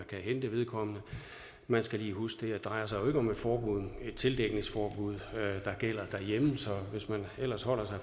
kan hente vedkommende man skal lige huske ikke drejer sig om et tildækningsforbud der gælder derhjemme så hvis man ellers holder sig